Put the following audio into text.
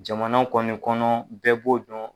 Jamana kɔni kɔnɔ bɛɛ b'o dɔn.